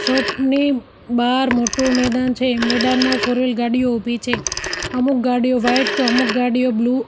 બાર મોટુ મેદાન છે મેદાન માં ફોરવિલ ગાડીઓ ઉભી છે અમુક ગાડીઓ વાઈટ તો અમુક ગાડીઓ બ્લુ --